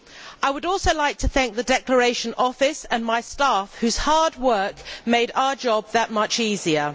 I would also like to thank the Declaration Office and my staff, whose hard work made our job that much easier.